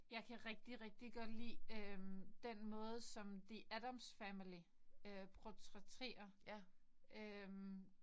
Jeg kan rigtig rigtig godt lide øh den måde som the Addams family øh portrætterer øh